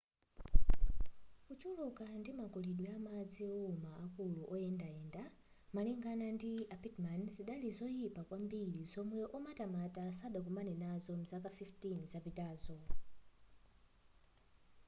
kuchuluka ndi makulidwe amadzi owuma akulu oyendayenda malingana ndi a pittman zidali zoyipa kwambiri zomwe omatamata sadakomane nazopo mzaka 15 zapitazo